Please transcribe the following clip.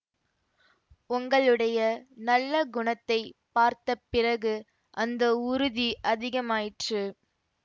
உங்களுடைய நல்ல குணத்தைப் பார்த்த பிறகு அந்த உறுதி அதிகமாயிற்று